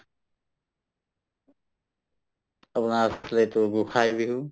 আপোনৰ গোঁসাই বিহু